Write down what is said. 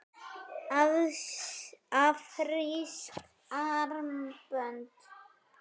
Afrísk armbönd?